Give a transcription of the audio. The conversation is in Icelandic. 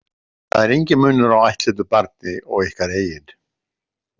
Það er enginn munur á ættleiddu barni og ykkar eigin.